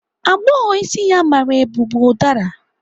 Agbọghọ isi ya mara eu bu ụdara.